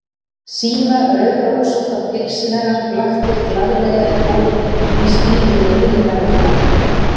Síða rauðrósótta pilsið hennar blaktir glaðlega í golunni, í stíl við rauðleita lokkana.